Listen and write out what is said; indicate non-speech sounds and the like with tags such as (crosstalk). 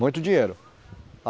Muito dinheiro. (unintelligible)